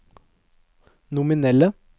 nominelle